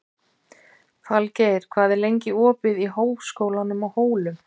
Framámenn byltingarinnar eru sjaldan taldir til upplýsingarmanna.